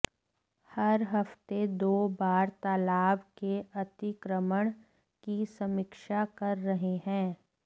हर हफ्ते दो बार तालाब के अतिक्रमण की समीक्षा कर रहे हैं